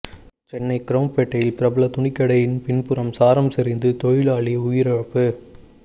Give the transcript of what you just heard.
சென்னை குரோம்பேட்டையில் பிரபல துணிக்கடையின் பின்புறம் சாரம் சரிந்து தொழிலாளி உயிரிழப்பு